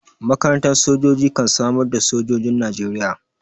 Makarantar sojoji kan samar da sojojin Najeriya.